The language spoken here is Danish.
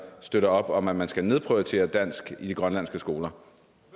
støtter op om at man skal nedprioritere dansk i de grønlandske skoler